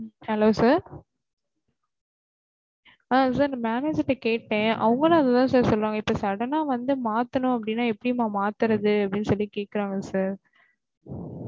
Hello sir ஆஹ் sir நான் manager கிட்ட கேட்டேன் அவங்களும் அத sir சொல்லுறாங்க இப்ப sudden ஆ வந்து மாத்தணும் அடின்னா எப்டிம்மா மாத்துறது அப்டின்னு கேக்குறாங்க sir